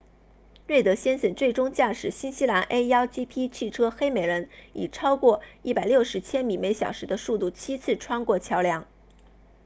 瑞德先生最终驾驶新西兰 a1gp 汽车黑美人以超过160千米每小时的速度七次穿过桥梁